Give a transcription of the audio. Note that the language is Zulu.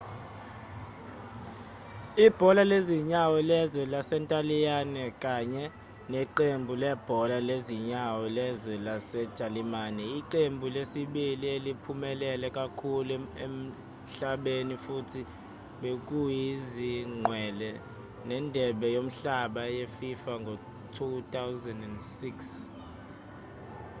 ibhola lezinyawo lezwe lasentaliyane kanye neqembu lebhola lezinyawo lezwe lasejalimane iqembu lesibili eliphumelele kakhulu emhlabeni futhi bekuyizingqwele zendebe yomhlaba yefifa ngo-2006